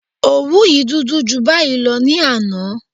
Òwú yìí dúdú ju báyìí lọ ní àná